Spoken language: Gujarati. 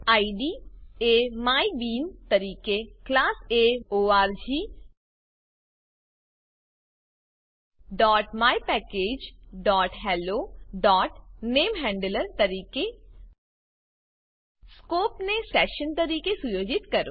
ઇડ એ માયબીન તરીકે ક્લાસ એ orgmypackagehelloનેમહેન્ડલર તરીકે સ્કોપ ને સેશન તરીકે સુયોજિત કરો